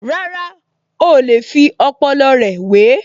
Rárá, oò lè fi ọpọlọ rẹ̀ wè é